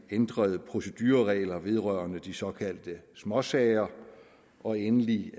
ændrede procedureregler vedrørende de såkaldte småsager og endelig